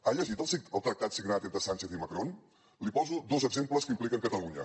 ha llegit el tractat signat entre sánchez i macron li poso dos exemples que impliquen catalunya